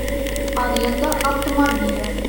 аренда автомобиля